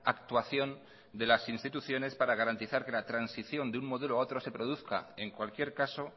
actuación de las instituciones para garantizar que la transición de un modelo a otro se produzca en cualquier caso